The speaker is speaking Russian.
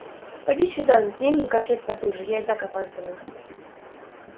поди сюда затяни мне корсет потуже я и так опаздываю